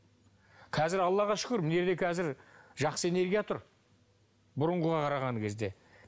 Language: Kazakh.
қазір аллаға шүкір дүниеде қазір жақсы энергия тұр бұрынғыға қараған кезде